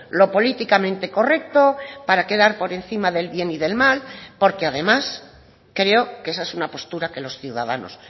lo políticamente correcto para quedar por encima del bien y del mal porque además creo que esa es una postura que los ciudadanos